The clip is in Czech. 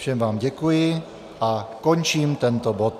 Všem vám děkuji a končím tento bod.